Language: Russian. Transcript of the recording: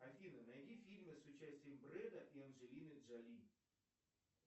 афина найди фильмы с участием бреда и анджелины джоли